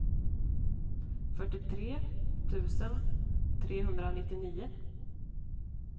fyrtiotre tusen trehundranittionio